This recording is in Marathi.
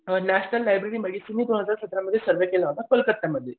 नेशनल लॅब्रेरी कोणाचा सतरामध्ये सर्वे केला होता कोलकत्यामध्ये.